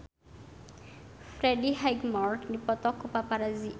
Freddie Highmore dipoto ku paparazi